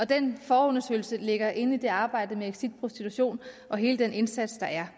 den forundersøgelse ligger inden i det arbejde med exit prostitution og hele den indsats der er